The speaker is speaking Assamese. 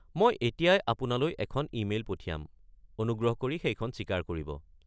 মই এতিয়াই আপোনালৈ এখন ইমেইল পঠিয়াম। অনুগ্ৰহ কৰি সেইখন স্বীকাৰ কৰিব।